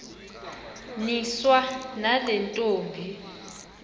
niswa nale ntombi